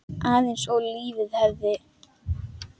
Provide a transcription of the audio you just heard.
Aðeins ef lífið hefði.?